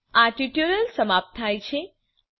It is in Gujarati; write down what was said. અહીં આ ટ્યુટોરીયલ સમાપ્ત થાય છે